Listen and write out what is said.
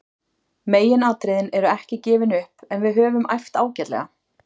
Megin atriðin eru ekki gefin upp en við höfum æft ágætlega.